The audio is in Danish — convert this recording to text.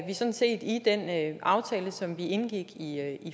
sådan set i den aftale som vi indgik i